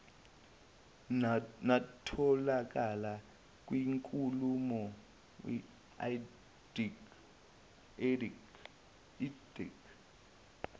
natholakala kwinkulumo idac